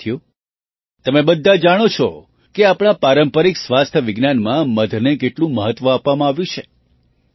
સાથીઓ તમે બધાં જાણો છો કે આપણા પારંપરિક સ્વાસ્થ્ય વિજ્ઞાનમાં મધને કેટલું મહત્ત્વ આપવામાં આવ્યું છે